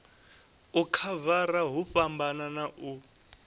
u khavara hu fhambana u